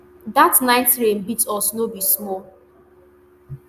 dat night rain beat us no be small